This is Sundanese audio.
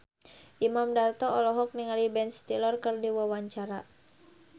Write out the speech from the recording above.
Imam Darto olohok ningali Ben Stiller keur diwawancara